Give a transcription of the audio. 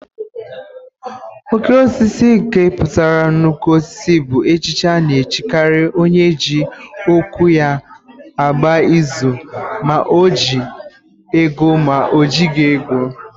Oké Osisi nke pụtara nnukwu osisi bụ echichi a na-echikari onye eji okwu ya agba izu ma o ji ego ma o jighị ego.